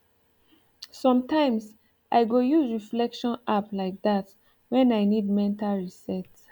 sometimes i go use reflection app like that when i need mental reset